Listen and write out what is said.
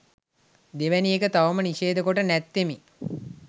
දෙවැනි එක තවම නිෂේධ කොට නැත්තෙමි